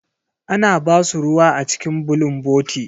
Ana ba su ruwa a cikin bulunboti.